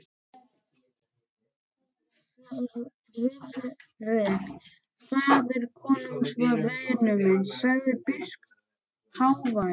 Friðrik faðir konungs var vinur minn, sagði biskup hávær.